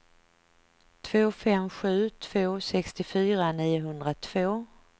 två fem sju två sextiofyra niohundratvå